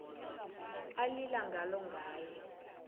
alila ngalo ngaye